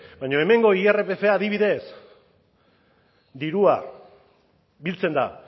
baina hemengo irpfa adibidez dirua biltzen da